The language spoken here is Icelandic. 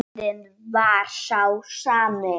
Andinn var sá sami.